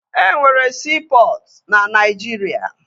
E nwere siipọtụ na Naijiria